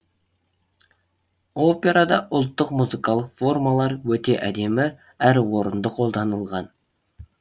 операда ұлттық музыкалық формалар өте әдемі әрі орынды қолданылған